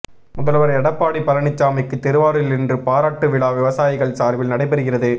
முதல்வர் எடப்பாடி பழனிசாமிக்கு திருவாரூரில் இன்று பாராட்டு விழா விவசாயிகள் சார்பில் நடைபெறுகிறது